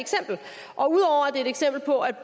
er et eksempel på at